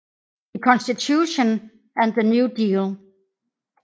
The Constitution and the New Deal